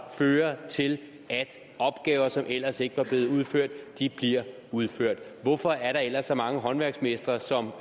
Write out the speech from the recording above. fører til at opgaver som ellers ikke var blevet udført bliver udført hvorfor er der ellers så mange håndværksmestre som